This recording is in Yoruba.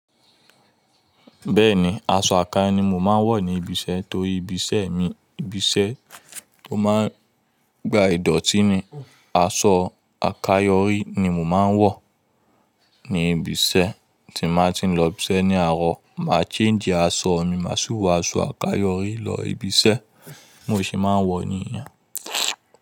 Bẹ́ẹ̀ni, aṣọ okan ni mo máa ń wọ̀ ní ibi iṣẹ́ torí ibi iṣẹ́ mi, ibi iṣẹ́ tó máa ń gba ìdọ̀tí ni, aṣọ àkayọ rí ni mo máa ń wọ̀ ní ibi iṣẹ́. Tí màá ti ń lọ ibi iṣẹ́ ní àárọ̀, màá change aṣọ mi, màá sì wọ aṣọ àkayọ rí lọ ibi iṣẹ́, bimo se máa ń wọ̀ níyen.